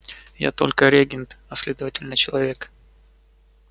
я только регент а следовательно человек